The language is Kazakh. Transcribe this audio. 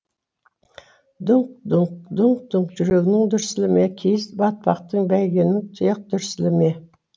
дүңк дүңк дүңк дүңк жүрегінің дүрсілі ме киіз батпақты бәйгенің тұяқ дүрсілі ме